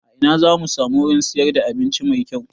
A ina zamu samu wurin siyar da abinci mai kyau?